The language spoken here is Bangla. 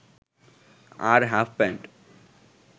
আর হাফপ্যান্ট